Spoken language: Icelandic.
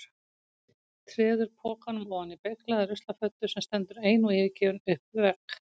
Treður pokanum ofan í beyglaða ruslafötu sem stendur ein og yfirgefin upp við vegg.